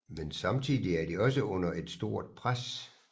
Men samtidig er de også under et stort pres